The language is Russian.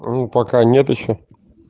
ну пока нет ещё